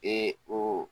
Ee o